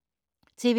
TV 2